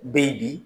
Bɛ ye bi